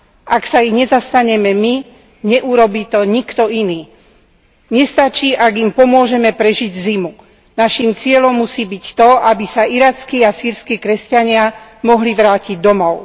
Ak sa ich nezastaneme my, neurobí to nikto iný. Nestačí, ak im pomôžeme prežiť zimu, naším cieľom musí byť to, aby sa irackí a sýrski kresťania mohli vrátiť domov.